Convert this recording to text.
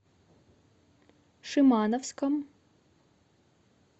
шимановском